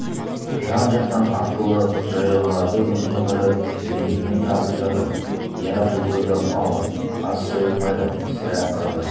жан-жақтан аттылы жаяуларды өзіне қарай лебімен тартып жатыр иә бұл тойда мал аз сойылмайды сірә қырғыз